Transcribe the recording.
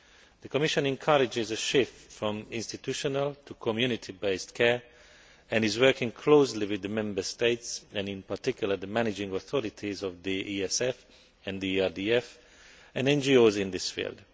The Commission encourages a shift from institutional to community based care and is working closely with the Member States and, in particular, the managing authorities of the ESF and the ERDF and NGOs in this field.